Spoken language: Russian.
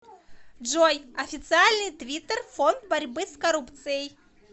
джой официальный твиттер фонд борьбы с коррупцией